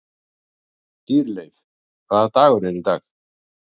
Dýrleif, hvaða dagur er í dag?